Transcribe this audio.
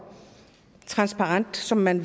transparent som man